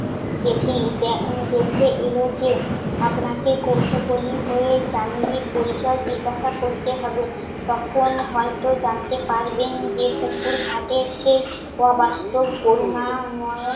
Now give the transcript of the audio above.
দেখেই দে~ দেখে এলো যে। আপনাকে কৌতূহলী হয়ে দামিনীর পরিচয় জিজ্ঞেস করতে হবে। তখন হয়ত জানতে পারবেন যে পুকুরঘাটে সেই অবাস্তব করুণা নয়ন